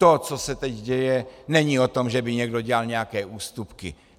To, co se teď děje, není o tom, že by někdo dělal nějaké ústupky.